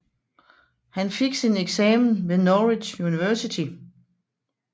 Han fik sin eksamen ved Norwich University